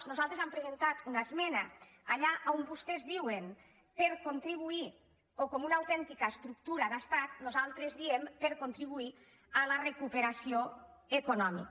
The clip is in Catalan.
nosaltres hem presentat una esmena allà on vostès diuen per contribuir o com una autèn·tica estructura d’estat nosaltres diem per contribuir a la recuperació econòmica